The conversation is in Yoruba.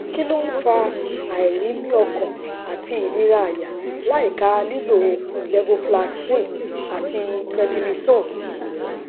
kí ló ń fa àìrímiọkàn àti ìnira àyà láìka lílo levofloxacin àti prednisone sí